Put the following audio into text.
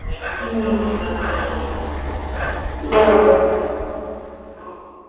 एकदिवस चा रोज नाही म्हणजे जेवण नाही.